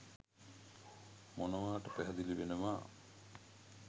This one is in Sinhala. මොනවාට පැහැදිලි වෙනවා.